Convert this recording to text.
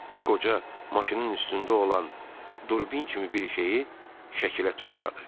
Qoca maşının üstündə olan durbin kimi bir şeyi şəkilə tuşladı.